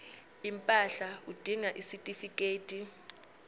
impahla udinga isitifikedi